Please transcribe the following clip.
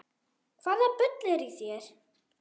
Hvaða bull er í þér?